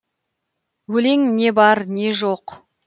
өлең не бар не жоқ